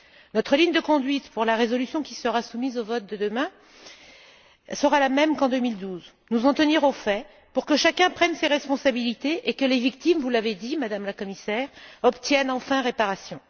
Notre ligne de conduite pour la résolution qui sera soumise au vote de demain sera la même qu'en 2012 nous en tenir aux faits pour que chacun prenne ses responsabilités et que les victimes vous l'avez dit, Madame la Commissaire obtiennent enfin réparation.